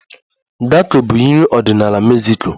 Tako bụ nri ọdịnala Mexico